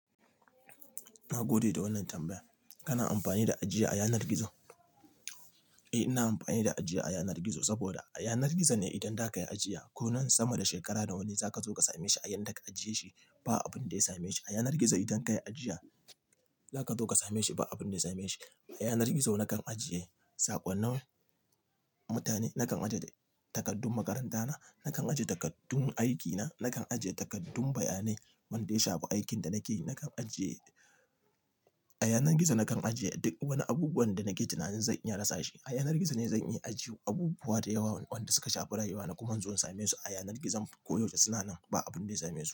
Na gode da wannan tambayar. Kana amfani da ajiya a yanar gizo? Eh, ina amfani da ajiya a yanar gizo saboda a yanar gizo ne idan za ka yi ajiya ko nan sama da shekara da wani za ka zo ka same shi a yadda ka ajiye shi ba abin da ya same shi. A yanar gizo idan ka yi ajiya, za ka zo ka same shi ba abin da ya same shi. A yanar gizo na kan ajiye saƙonnin mutane, na kan ajiye takardun makaranta na, na kan ajiye takardun aikina, na kan ajiye takardun bayanai wanda ya shafi aikin da nake yi. Na kan ajiye-- a yanar gizo na kan ajiye duk wani abubuwanda nake tunanin zan iya rasa shi. A yanar gizo ne zan iya ajiye abubuwa da yawa wanda suka shafi rayuwa na kuma in zo in same su a yanar gizo koyaushe suna nan ba abin da ya same su.